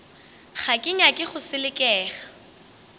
ga ke nyake go selekega